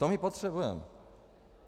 To my potřebujeme.